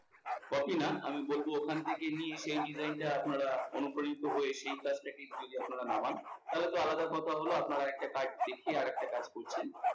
copy না আমি বলবো এখানে থেকে নিয়ে সেই design টা আপনারা অনুপ্রাণিত হয়ে সেই কাজটাকে আপনারা নামান, তাহলে তো আলাদা কথা হলো আপনারা একটা কাজ দেখে আরেকটা কাজ করছেন।